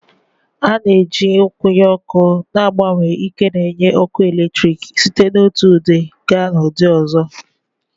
A na-eji nkwụnye ọkụ na-agbanwe ike n'enye ọkụ eletrik site n'otu ụdị gaa n'ụdị ọzọ